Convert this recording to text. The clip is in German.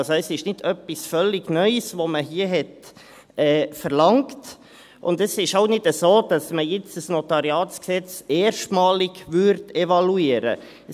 Also: Es ist nicht etwas völlig Neues, das man hier verlangt hat, und es ist auch nicht so, dass man jetzt ein NG erstmalig evaluieren würde.